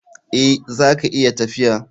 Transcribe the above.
Eh, zaka iya tafiya.